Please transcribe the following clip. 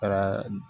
Taara